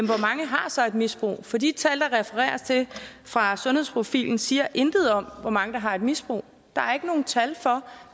hvor mange har så et misbrug for de tal der refereres til fra sundhedsprofilen siger intet om hvor mange der har et misbrug der er ikke noget tal for